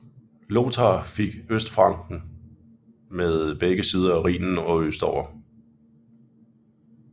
Lothar fik Østfranken med begge sider af Rhinen og østover